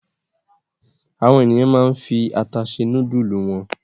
Àwọn ènìyàn máa ń fi ata se núdúlù wọn.